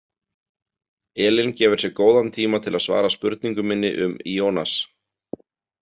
Elín gefur sér góðan tíma til að svara spurningu minni um Ionas.